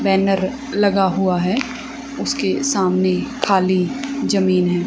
Banner लगा हुआ है उसके सामने खाली जमीन है।